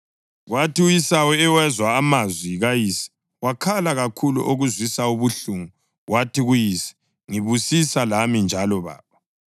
Kwathi u-Esawu ewezwa amazwi kayise, wakhala kakhulu okuzwisa ubuhlungu wathi kuyise, “Ngibusisa lami njalo, baba!”